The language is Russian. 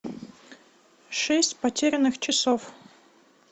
шесть потерянных часов